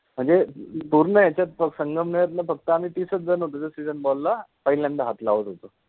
म्हणजे पुर्ण याच्यात सनगमनेर ला फक्त आम्ही तीस च जण होतो जे SEASON BALL ला पहिल्यांदा हाथ लावत होतो